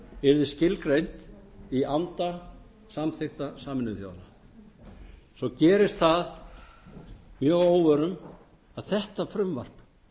yrði skilgreint í anda samþykkta sameinuðu þjóðanna svo gerist það mjög að óvörum að þetta frumvarp